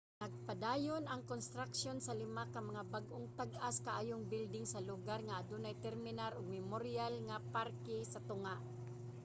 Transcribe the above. nagapadayon ang konstruksyon sa lima ka mga bag-ong tag-as kaayong building sa lugar nga adunay terminal ug memoryal nga parke sa tunga